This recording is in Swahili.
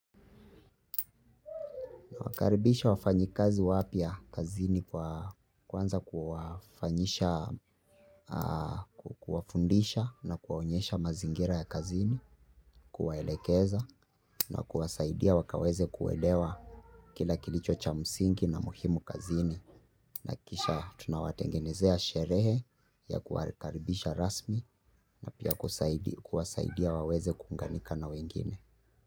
Huwakaribisha wafanyikazi wapya kazini kwa kuanza kuwafanyisha, kuwafundisha na kuwaonyesha mazingira ya kazini, kuwaelekeza na kuwasaidia wakaweze kuelewa kila kilicho cha msingi na muhimu kazini. Nahakikisha tunawatengenezea sherehe ya kuwarikaribisha rasmi na pia kuwasaidia waweze kuunganika na wengine.